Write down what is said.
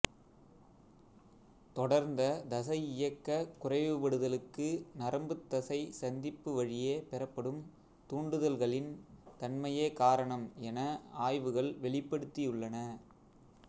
தொடர்ந்த தசை இயக்க குறைவுபடுதலுக்கு நரம்புத்தசை சந்திப்பு வழியே பெறப்படும் தூண்டுதல்களின் தன்மையே காரணம் என ஆய்வுகள் வெளிப்படுத்தியுள்ளன